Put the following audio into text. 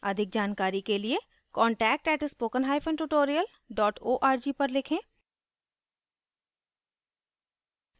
अधिक जानकारी के लिए contact @spoken hyphen tutorial dot org पर लिखें